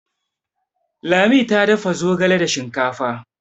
ladi ta dafa zogale da shinkafa